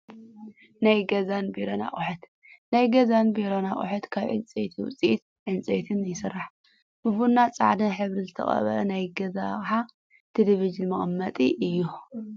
ናይ ገዛንቢሮን ኣቁሑት፦ ናይ ገዛን ናይ ቢሮን ኣቁሑት ካብ ዕንፀይት ውፅኢት ዕንፀይት ይስርሑ። ብቡና ፃዕዳን ሕብሪ ዝተቀበኣ ናይ ገዛ ኣቅሓ ቴሌቨዥን መቀመጢ እዩ።